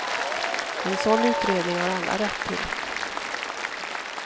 En sådan utredning har alla rätt till.